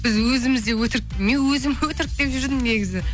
біз өзіміз де өтрік мен өзім өтрік деп жүрдім негізі